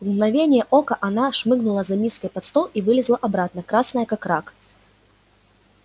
в мгновение ока она шмыгнула за миской под стол и вылезла обратно красная как рак